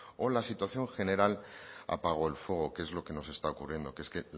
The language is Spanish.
o la situación general apagó el fuego que es lo que nos está ocurriendo que es que